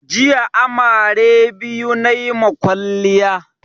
Jiya amare biyu nayi ma kwaliya